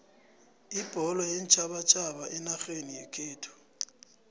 ibholo yeentjhabatjhaba enarheni yekhethu